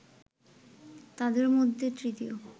তাদের মধ্যে তৃতীয়